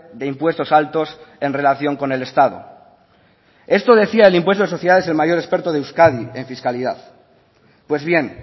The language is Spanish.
de impuestos altos en relación con el estado esto decía del impuesto de sociedades el mayor experto de euskadi en fiscalidad pues bien